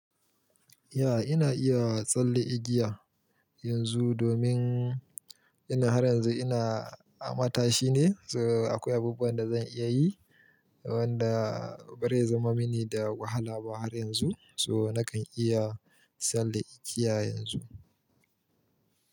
Ya, ina iya tsalle igiya yanzu domin ina har yanzu ina a matashi ne. So akwai abubuwan da zan iya yi wanda ba zai zama mini da wahala ba har yanzu. So nakan iya tsalle igiya yanzu.